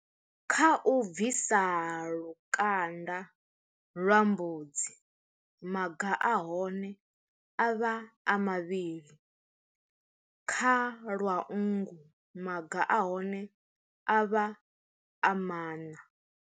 Kha u bvisa lukanda lwa mbudzi maga a hone a vha a mavhili kha lwau nngu maga a hone a vha a mana.